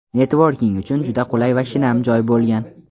netvorking uchun juda qulay va shinam joy bo‘lgan.